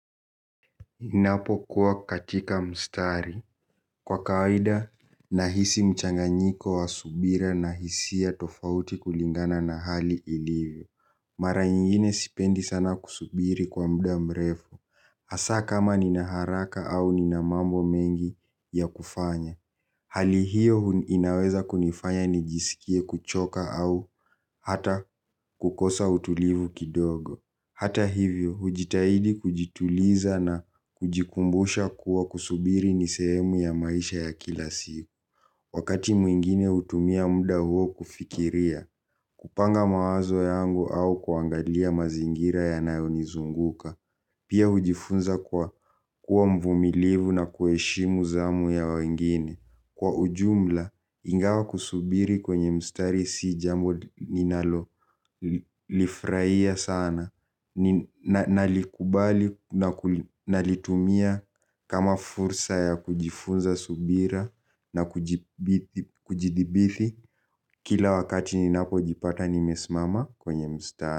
Ninapo kuwa katika mstari kwa kawaida nahisi mchanganyiko wa subira na hisia tofauti kulingana na hali ilivyo. Mara nyingine sipendi sana kusubiri kwa muda mrefu. Hasaa kama nina haraka au nina mambo mengi ya kufanya. Hali hiyo inaweza kunifanya nijisikie kuchoka au hata kukosa utulivu kidogo. Hata hivyo, hujitahidi kujituliza na kujikumbusha kuwa kusubiri ni sehemu ya maisha ya kila siku. Wakati mwingine hutumia muda huo kufikiria, kupanga mawazo yangu au kuangalia mazingira yanayonizunguka. Pia hujifunza kuwa mvumilivu na kuheshimu zamu ya wengine. Kwa ujumla, ingawa kusubiri kwenye mstari si jambo ninalolifurahia sana nalikubali na nalitumia kama fursa ya kujifunza subira na kujithibithi. Kila wakati ninapojipata nimesimama kwenye mstari.